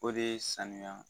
O dee sanuyaa